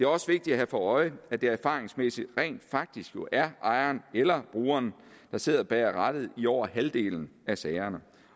også vigtigt at have for øje at det erfaringsmæssigt rent faktisk jo er ejeren eller brugeren der sidder bag rattet i over halvdelen af sagerne